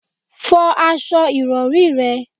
Fọ aṣọ ìrọ̀rí rẹ̀!